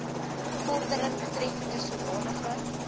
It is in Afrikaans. vordering betreffende sodanige